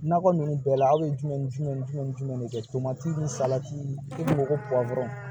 Nakɔ ninnu bɛɛ la aw ye jumɛn ni jumɛn ni jumɛn ni jumɛn de kɛ tomati ni salati i ko ko dɔrɔn